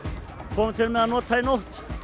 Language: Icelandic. komum til með að nota í nótt